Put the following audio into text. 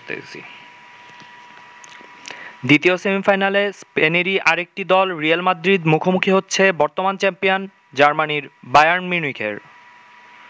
দ্বিতীয় সেমিফাইনালে স্পেনেরই আরেকটি দল রিয়েল মাদ্রিদ মুখোমুখি হচ্ছে বর্তমান চ্যাম্পিয়ন জার্মানির বায়ার্ন মিউনিখের।